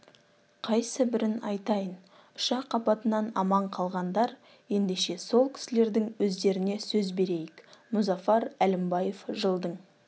қайсы бірін айтайын ұшақ апатынан аман қалғандар ендеше сол кісілердің өздеріне сөз берейік мұзафар әлімбаев жылдың